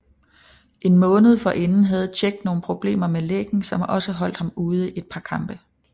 En måned forinden havde Čech nogle problemer med læggen som også holdt ham ude et par kampe